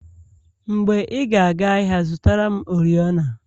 Mgbe ị ga aga ahịa zụtara m oriọna